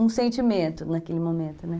Um sentimento naquele momento, né?